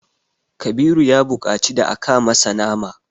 Kabiru ya buƙaci da aka masa nama.